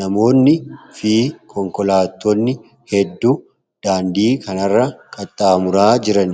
namoonni fi konkolaatonni hedduu daandii kanarra qaxxaamuraa jiran.